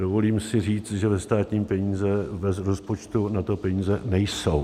Dovolím si říct, že ve státním rozpočtu na to peníze nejsou.